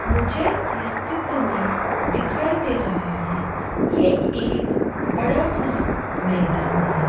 मुझे इस चित्र में दिखाई दे रहा है ये एक बड़ा सा मैदान है।